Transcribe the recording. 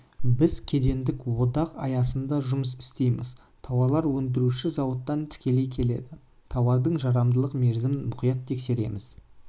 біз кедендік одақ аясында жұмыс істейміз тауарлар өндіруші зауыттан тікелей келеді тауардың жарамдылық мерзімін мұқият тексереміз